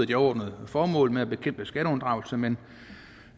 de overordnede formål med at bekæmpe skatteunddragelse men